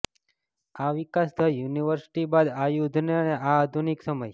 આ વિકાસ the university બાદ આ યુદ્ધ અને આ આધુનિક સમય